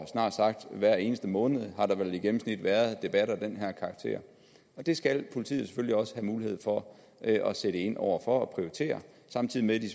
snart sagt hver eneste måned i gennemsnit været debatter af den her karakter det skal politiet selvfølgelig også have mulighed for at sætte ind over for og prioritere samtidig med de